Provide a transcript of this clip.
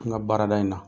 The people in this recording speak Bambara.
N ka baarada in na